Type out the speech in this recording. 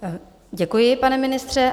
Děkuji, pane ministře.